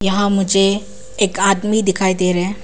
वहां मुझे एक आदमी दिखाई दे रहे--